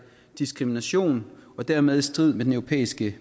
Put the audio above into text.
diskrimination og dermed i strid med den europæiske